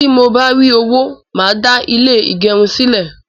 Tí mo bá rí owó, màá dá ilé ìgẹrun sílè